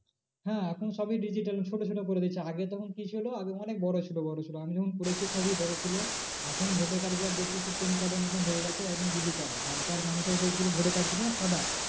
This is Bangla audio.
হ্যাঁ এখন সবই digital ছোটো ছোটো করে দিয়েছে আগে তখন কি ছিল আগে অনেক বড়ো ছিল বড়ো ছিল আমি যখন করেছি সবই বড়ো ছিল। এখন voter card গুলো দেখছি সেই PAN card এর মতন হয়ে গেছে এখন digital আর আগেকার মানুষের যে ছিল voter card ছিল সাদা